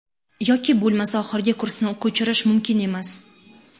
Yoki bo‘lmasa, oxirgi kursni ko‘chirish mumkin emas.